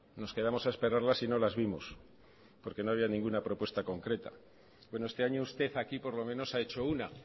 nos quedamos a esperarlas y no las vimos porque no había ninguna propuesta concreta bueno este año usted aquí por lo menos ha hecho una